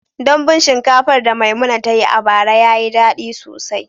Dambun shinkafar da Maimuna ta yi a bara ya yi daɗi sosai.